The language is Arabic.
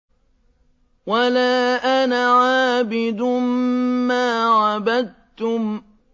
وَلَا أَنَا عَابِدٌ مَّا عَبَدتُّمْ